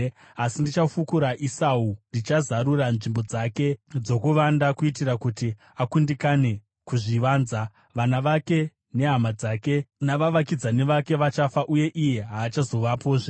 Asi ndichafukura Esau; ndichazarura nzvimbo dzake dzokuvanda, kuitira kuti akundikane kuzvivanza. Vana vake, nehama dzake navavakidzani vake vachafa, uye iye haachazovapozve.